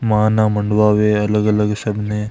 माना मांडवा में अलग-अलग सबने।